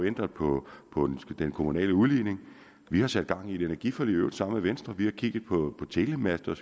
ændret på den kommunale udligning vi har sat gang i et energiforlig i øvrigt sammen med venstre vi har kigget på telemaster og